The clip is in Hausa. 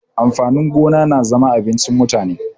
Amfani gona na zama abincin mutane.